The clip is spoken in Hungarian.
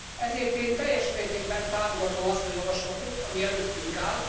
Ezért én teljes mértékben támogatom azt a javaslatot, ami előttünk áll.